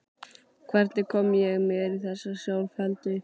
Hvernig kom ég mér í þessa sjálfheldu?